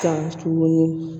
Kan tuguni